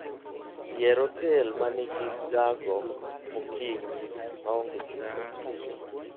Yier otel ma nigi gago mokinyi maonge chudo.